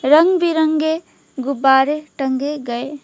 रंग बिरंगे गुब्बारे टंगे गए--